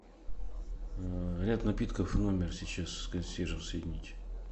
ряд напитков в номер сейчас с консьержем соединить